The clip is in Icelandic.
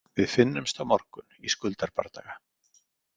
Við finnumst á morgun í Skuldarbardaga.